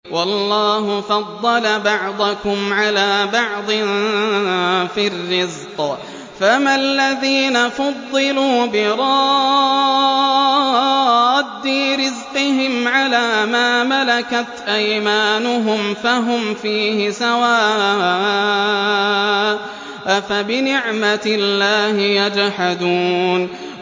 وَاللَّهُ فَضَّلَ بَعْضَكُمْ عَلَىٰ بَعْضٍ فِي الرِّزْقِ ۚ فَمَا الَّذِينَ فُضِّلُوا بِرَادِّي رِزْقِهِمْ عَلَىٰ مَا مَلَكَتْ أَيْمَانُهُمْ فَهُمْ فِيهِ سَوَاءٌ ۚ أَفَبِنِعْمَةِ اللَّهِ يَجْحَدُونَ